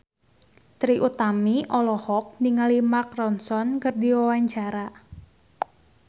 Trie Utami olohok ningali Mark Ronson keur diwawancara